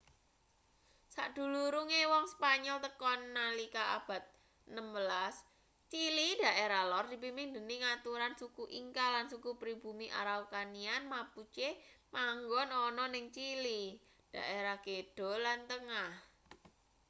sadurunge wong spanyol tekan nalika abad 16 chili daerah lor dipimpin dening aturan suku inca lan suku pribumi araucanian mapuche manggon ana ning chili daerah kidul lan tengah